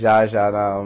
Já, já.